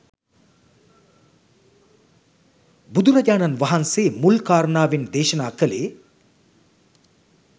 බුදුරජාණන් වහන්සේ මුල් කාරණාවෙන් දේශනා කළේ